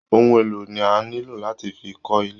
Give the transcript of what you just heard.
Ohun elo ni a nilo lati fi kó ilé.